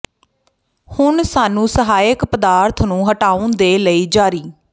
ਹੁਣ ਸਾਨੂੰ ਸਹਾਇਕ ਪਦਾਰਥ ਨੂੰ ਹਟਾਉਣ ਦੇ ਲਈ ਜਾਰੀ